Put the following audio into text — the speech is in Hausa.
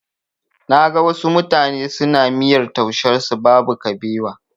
Na ga wasu mutane suna miyar taushen su babu kabewa.